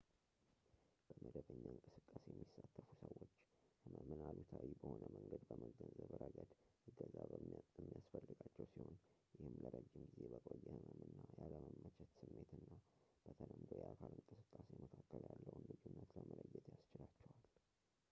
በመደበኛ እንቅስቃሴ የሚሳተፉ ሰዎች ሕመምን አሉታዊ በሆነ መንገድ በመገንዘብ ረገድ እገዛ የሚያስፈልጋቸው ሲሆን ይህም ለረጅም ጊዜ በቆየ ሕመምና ያለመመቸት ስሜትና በተለምዶ የአካል እንቅስቃሴ መካከል ያለውን ልዩነት ለመለየት ያስችላቸዋል